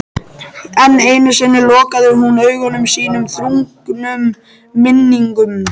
Enn einu sinni lokaði hún augum sínum þrungnum minningum.